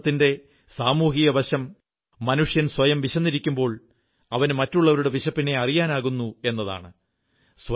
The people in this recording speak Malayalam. ഉപവാസത്തിന്റെ സാമൂഹിക വശം മനുഷ്യൻ സ്വയം വിശന്നിരിക്കുമ്പോൾ അവന് മറ്റുള്ളവരുടെ വിശപ്പിനെ അറിയാനാകുന്നു എന്നതാണ്